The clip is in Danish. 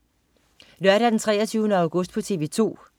Lørdag den 23. august - TV 2: